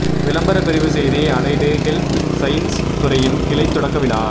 விளம்பர பிரிவு செய்தி அலைடு ஹெல்த் சயின்ஸ் துறையின் கிளை தொடக்க விழா